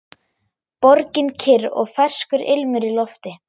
Borgin kyrr og ferskur ilmur í lofti.